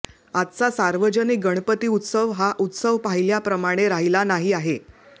आजचा सार्वजनिक गणपती उत्सव हा उत्सव पाहिल्याप्रमाणे राहिला नाही आहे